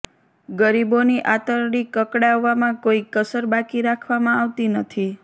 ગરીબોની આંતરડી કકડાવવામાં કોઈ કસર બાકી રાખવામાં આવતી નથી